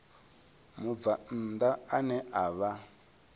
mubvann ḓa ane a vha